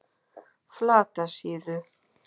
Flatasíðu